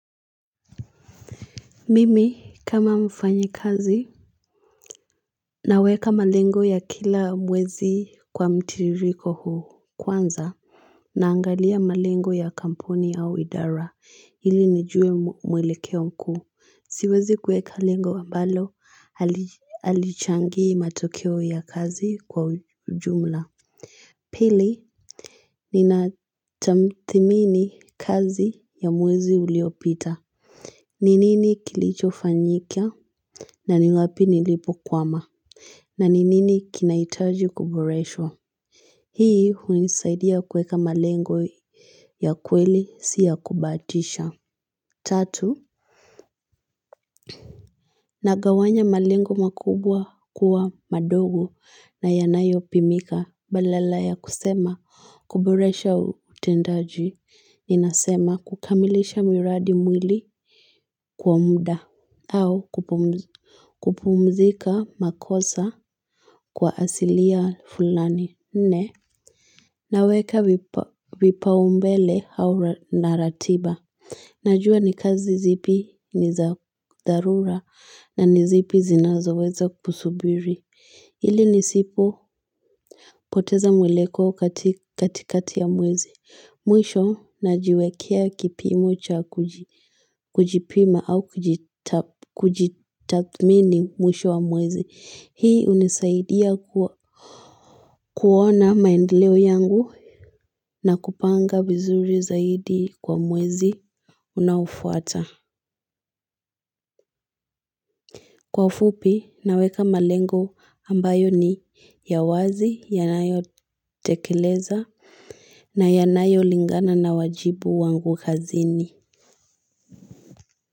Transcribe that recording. Mimi kama mfanyi kazi naweka malengo ya kila mwezi kwa mtiririko huu kwanza naangalia malengo ya kamponi ya idara ili nijue mwelekeo mkuu siwezi kweka lengo wa mbalo alichangi matokeo ya kazi kwa ujumla Pili ni natamthimini kazi ya mwezi uliopita Ninini kilicho fanyikia na niwapi nilipo kwama. Na ninini kinaitaji kuburesho? Hii hunisaidia kweka malengo ya kweli siya kubatisha. Tatu. Nagawanya malengo makubwa kuwa madogo na yanayopimika. Badala ya kusema kuburesha utendaji. Ninasema kukamilisha miradi mwili kuwa muda. Au kupumzika makosa kwa asilia fulani. Nne. Naweka vipaumbele au naratiba. Najua ni kazi zipi ni za dharura na nizipi zinazo weza kusubiri. Hili ni sipopoteza mweleko katikati ya mwezi. Mwisho na jiwekea kipimo cha kujipima au kujitathimini mwisho wa mwezi. Hii unisaidia kuona maendeleo yangu na kupanga vizuri zaidi kwa mwezi unafuata. Kwa fupi, naweka malengo ambayo ni ya wazi, yanayotekeleza na yanayolingana na wajibu wangu kazini.